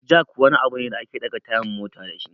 Jack wani abu ne da ake ɗaga tayan mota dashi